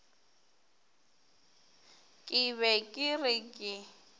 ke be ke re ke